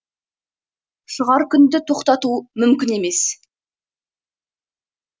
шығар күнді тоқтату мүмкін емес